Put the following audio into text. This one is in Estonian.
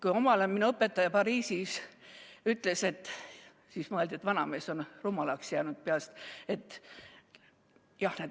Kui omal ajal minu õpetaja Pariisis ütles, et jah, need lapsed saavad terveks, siis mõeldi, et vanamees on peast rumalaks jäänud.